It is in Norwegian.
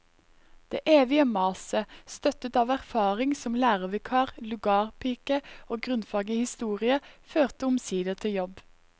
Det evige maset, støttet av erfaring som lærervikar, lugarpike og grunnfag i historie, førte omsider til jobb.